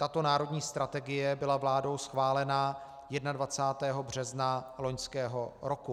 Tato národní strategie byla vládou schválena 21. března loňského roku.